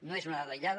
no és una dada aïllada